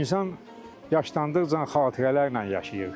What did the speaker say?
İnsan yaşlandıqca xatirələrlə yaşayır.